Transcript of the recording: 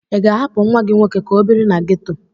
Ị ga-ahapụ nwa gị nwoke ka ọ biri na geto?